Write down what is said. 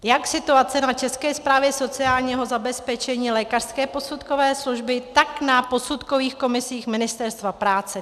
Jak situace na České správě sociálního zabezpečení, lékařské posudkové služby, tak na posudkových komisích Ministerstva práce.